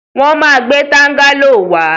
Wọ́n ma gbẹ́ tángáló wá.